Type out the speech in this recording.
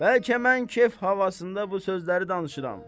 Bəlkə mən kef havasında bu sözləri danışıram.